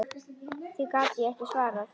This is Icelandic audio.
Því gat ég ekki svarað.